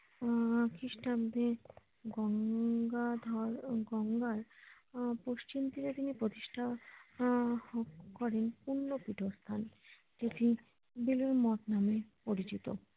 আহ খিষ্টাব্দে গঙ্গাধর ও গঙ্গার পশ্চিম তীরে তিনি প্রতিষ্ঠা আহ করেন পূর্ণ ফুটের কাজ যেটি বেলুড় মঠ নামে পরিচিত